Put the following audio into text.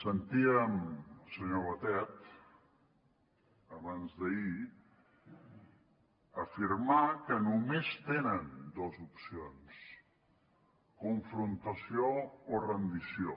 sentíem el senyor batet abans d’ahir afirmar que només tenen dues opcions confrontació o rendició